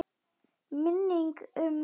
Minning um mömmu.